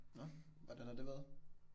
Nå. Hvordan har det været?